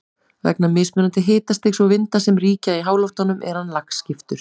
Vegna mismunandi hitastigs og vinda sem ríkja í háloftunum er hann lagskiptur.